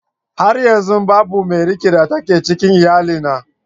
Har yanzu babu mai rike da take a cikin iyalina